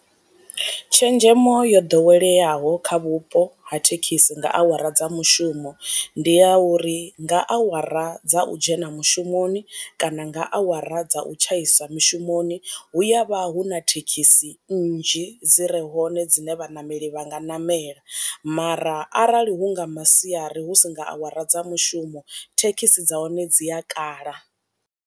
Tshenzhemo yo ḓoweleaho kha vhupo ha thekhisi nga awara dza mushumo ndi ya uri nga awara dza u dzhena mushumoni kana nga awara dza u tshaisa mushumoni, hu ya vha hu na thekhisi nnzhi dzi re hone dzine vhaṋameli vha nga namela, mara arali hu nga masiari husi nga awara dza mushumo thekhisi dza hone dzi a kala.